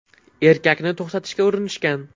Erkakni to‘xtatishga urinishgan.